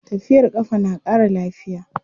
Tafiyar ƙafa na ƙara lafiya.